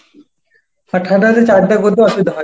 আর ঠান্ডায় হচ্ছে চান টান করতে অসুবিধা হয়।